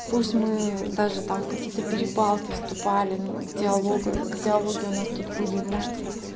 пусть мы даже там какие-то перепалки вступали в диалог в диалоге у нас тут были может